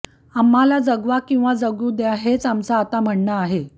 आम्हाला जगवा किंवा जगू द्या हेच आमचं आता म्हणणं आहे